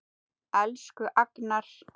Elsku Agnar.